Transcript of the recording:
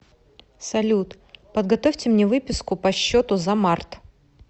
салют подготовьте мне выписку по счету за март